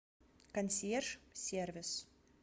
консьерж сервис